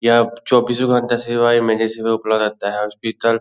यहाँ चौबीसो घंटे सेवाएं मेडिसिन उपलब्ध रहता है और स्पीकर --